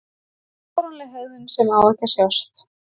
Fáránleg hegðun sem á ekki að sjást.